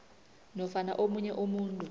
nofana omunye umuntu